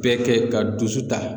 Bɛɛ kɛ ka dusu ta.